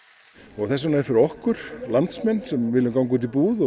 og þess vegna er fyrir okkur landsmenn sem vilja ganga